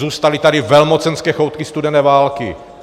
Zůstaly tady velmocenské choutky studené války.